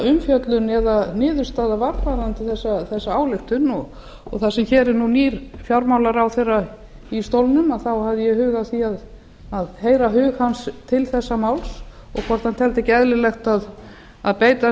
umfjöllun eða niðurstaða varð varðandi þessa ályktun og það sem nú er nýr fjármálaráðherra í stólnum þá hafði ég hug á því að heyra hug hans til þessa máls og hvort hann teldi ekki eðlilegt að beita